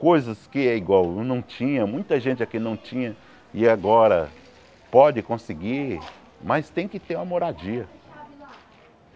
Coisas que é igual, não tinha, muita gente aqui não tinha e agora pode conseguir, mas tem que ter uma moradia.